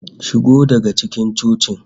Shigo daga cikin cocin!